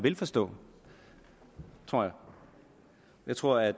vil forstå tror jeg jeg tror at